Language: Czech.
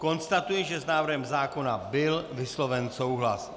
Konstatuji, že s návrhem zákona byl vysloven souhlas.